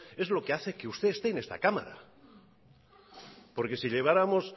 es lo que hace que usted esté en esta cámara porque si lleváramos